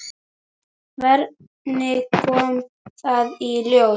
Hvernig kom það í ljós?